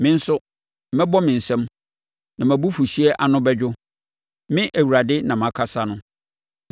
Me nso, mɛbɔ me nsam, na mʼabufuhyeɛ ano bɛdwo Me Awurade na makasa no.”